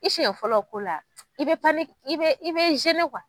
I siɲɛ fɔlɔ ko la i bɛ i bɛ i bɛ